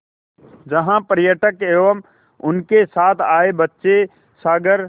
जहाँ पर्यटक एवं उनके साथ आए बच्चे सागर